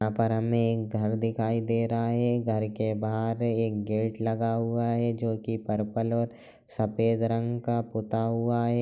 यहाँ पर हमें एक घर दिखाई दे रहा है घर के बाहर एक गेट लगा हुआ है जो की परपल और सफेद रंग का पुता हुआ है।